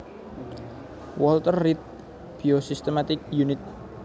Walter Reed Biosystematics Unit